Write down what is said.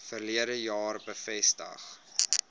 verlede jaar bevestig